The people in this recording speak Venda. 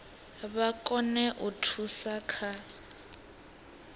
vha kone u thusa kha